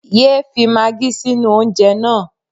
Yé é fi maagí sínú oúnjẹ náà.